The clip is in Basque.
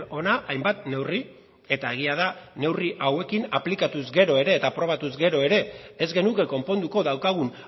hona hainbat neurri eta egia da neurri hauekin aplikatuz gero eta aprobatuz gero ere ez genuke konponduko daukagun